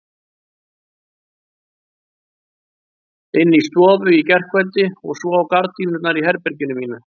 Inni í stofu í gærkveldi og svo á gardínurnar í herberginu mínu.